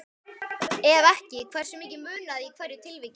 Ef ekki, hversu miklu munaði í hverju tilviki?